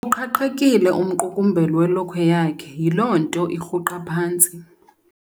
Uqhaqhekile umqukumbelo welokhwe yakhe yiloo nto irhuqa phantsi.